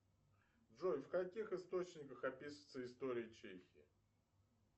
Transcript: джой в каких источниках описывается история чехии